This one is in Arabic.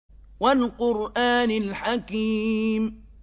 وَالْقُرْآنِ الْحَكِيمِ